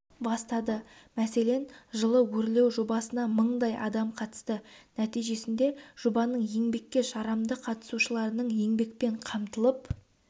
бастады мәселен жылы өрлеу жобасына мыңдай адам қатысты нәтижесінде жобаның еңбекке жарамды қатысушыларының еңбекпен қамтылып